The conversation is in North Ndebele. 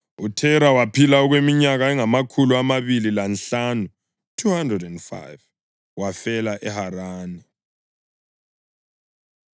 UThera waphila okweminyaka engamakhulu amabili lanhlanu (205), wafela eHarani.